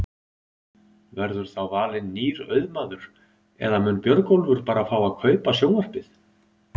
Verður þá valinn nýr auðmaður eða mun Björgólfur bara fá að kaupa sjónvarpið?